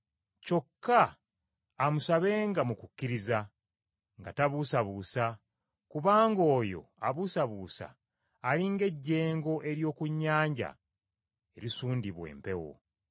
Kyokka amusabenga mu kukkiriza, nga tabuusabuusa, kubanga oyo abuusabuusa ali ng’ejjengo ery’oku nnyanja erisundibwa empewo.